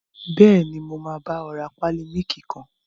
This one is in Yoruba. Bẹ́ẹ̀ni, mo máa bá ọ rà pálí mílìkì kan